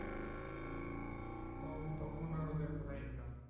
তো তখন আর ওদের কোন income হয় না.